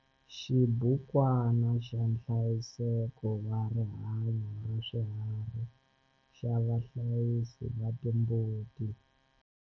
Xibukwana xa nhlayiseko wa rihanyo ra swiharhi xa vahlayisi va timbuti.